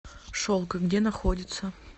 шелк где находится